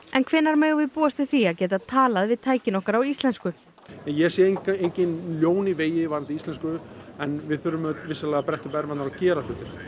en hvenær megum við búast við því að geta talað við tækin okkar á íslensku ég sé engin ljón í vegi varðandi íslensku en við þurfum vissulega að bretta upp ermarnar og gera hlutina